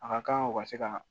A ka kan u ka se ka